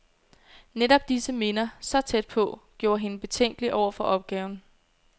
Netop disse minder, så tæt på, gjorde hende betænkelig over for opgaven.